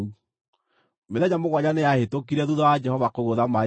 Mĩthenya mũgwanja nĩyahĩtũkire thuutha wa Jehova kũgũtha maaĩ ma Nili.